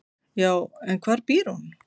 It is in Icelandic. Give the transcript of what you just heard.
"""Já, en hvar býr hún?"""